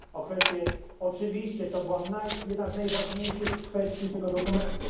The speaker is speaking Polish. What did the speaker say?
o tę kwestię oczywiście to była jedna z najważniejszych kwestii tego dokumentu.